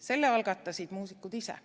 Selle algatasid muusikud ise.